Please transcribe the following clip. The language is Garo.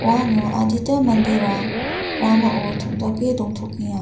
uano adita manderang ramao tom·dake dongtokenga.